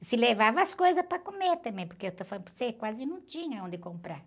E se levava as coisas para comer também, porque, eu estou falando para você, quase não tinha onde comprar.